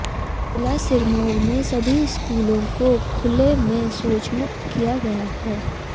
जिला सिरमौर में सभी स्कूलों को खुले में शौचमुक्त किया गया है